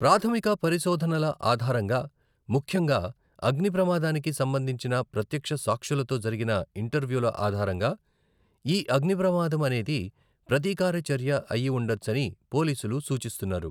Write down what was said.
ప్రాథమిక పరిశోధనల ఆధారంగా, ముఖ్యంగా అగ్నిప్రమాదానికి సంబంధించిన ప్రత్యక్ష సాక్షులతో జరిగిన ఇంటర్వ్యూల ఆధారంగా ఈ అగ్నిప్రమాదం అనేది ప్రతీకార చర్య అయి ఉండవచ్చని పోలీసులు సూచిస్తున్నారు.